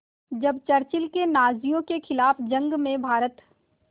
जब चर्चिल ने नाज़ियों के ख़िलाफ़ जंग में भारत